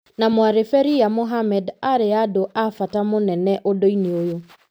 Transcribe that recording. na mwarĩ Ferhiya Mohammed arĩa andũ a bata mũnene ũndũ-inĩ ũyũ.